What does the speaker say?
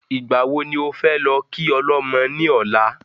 Ìgbà wo ni ofẹ́ lọ kí ọlọ́mọ ní ọ̀la?